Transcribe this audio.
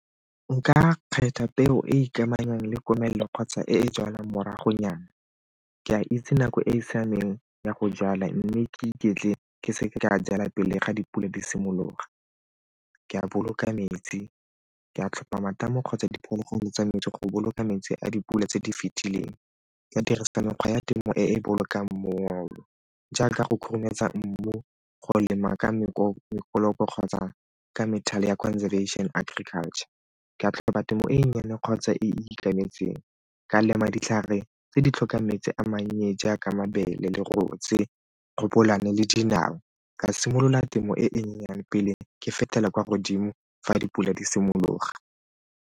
Nka kgetha peo e ikamanya le komelelo kgotsa e e jalwang moragonyana, ke a itse nako e e siameng ya go jala mme ke iketle ke seke ka jala pele ga dipula di simologa. Ke a a boloka metsi, ke a tlhopha matamo kgotsa diphologolo tsa metsi go boloka metsi a dipula tse di fetileng, ka dirisa mekgwa ya temo e e bolokang mmogo jaaka go khurumetsa mmu, go lema ka kgotsa ka methale ya conservation agriculture, ke a tlhola temo e nnyane kgotsa e e ikemetseng, ka lema ditlhare tse di tlhokang metsi a mannye jaaka mabele leruo tse le dinawa, ka simolola temo e e nyenyane pele ke fetela kwa godimo fa dipula di simologa.